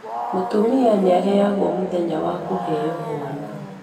Mũtumia nĩaheagwo mũthenya wa kũheo mwana